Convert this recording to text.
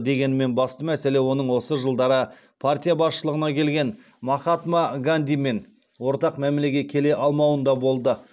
дегенмен басты мәселе оның осы жылдары партия басшылығына келген махатма гандимен ортақ мәмілеге келе алмауында болды